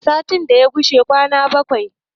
sati ya kushi kwana bakwai